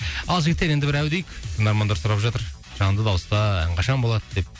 ал жігіттер енді бір әу дейік тыңдармандар сұрап жатыр жанды дауыста ән қашан болады деп